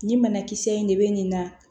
Nin banakisɛ in de bɛ nin na